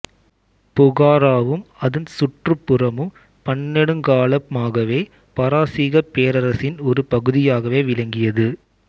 புகாராவும் அதன் சுற்றுப் புறமும் பன்னெடுங்காலமாகவே பாரசீகப் பேரரசின் ஒரு பகுதியாகவே விளங்கியது